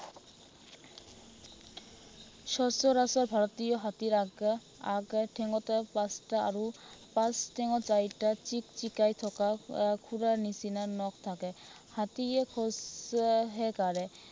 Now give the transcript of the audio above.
সচৰাচৰ ভাৰতীয় হাতীৰ আগে আগৰ ঠেঙতো পাঁচটা আৰু পাছ ঠেঙত চাৰিটা চিকচিকাই থকা আহ খুৰাৰ নিচিনা নখ থাকে। হাতীয়ে খোঁজহে কাঢ়ে।